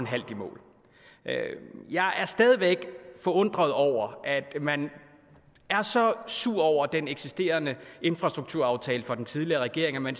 halvt i mål jeg er stadig væk forundret over at man er så sur over den eksisterende infrastrukturaftale fra den tidligere regering at man